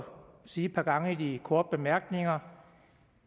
sige et par gange i de korte bemærkninger